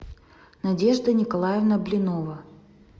надежда николаевна блинова